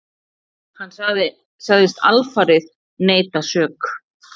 Hann sagðist alfarið neita sök.